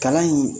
Kalan in